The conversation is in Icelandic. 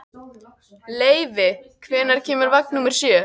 Leivi, hvenær kemur vagn númer sjö?